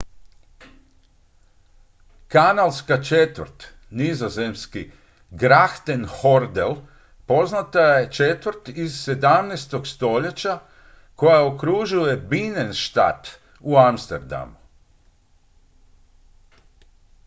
kanalska četvrt nizozemski: grachtengordel poznata je četvrt iz 17. stoljeća koja okružuje binnenstad u amsterdamu